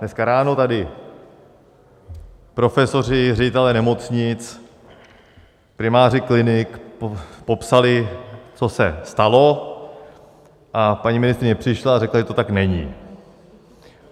Dneska ráno tady profesoři, ředitelé nemocnic, primáři klinik popsali, co se stalo, a paní ministryně přišla a řekla, že to tak není.